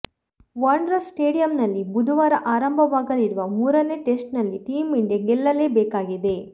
wanderers ಸ್ಟೇಡಿಯಂನಲ್ಲಿ ಬುಧವಾರ ಆರಂಭವಾಗಲಿರುವ ಮೂರನೇ ಟೆಸ್ಟ್ನಲ್ಲಿ ಟೀಮ್ ಇಂಡಿಯಾ ಗೆಲ್ಲಲೇಬೇಕಾಗಿದೆ